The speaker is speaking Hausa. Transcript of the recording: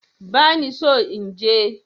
Bani so inje